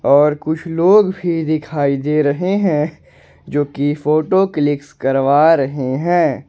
और कुछ लोग भी दिखाई दे रहे हैं जोकि फोटो क्लिकस करवा रहे हैं।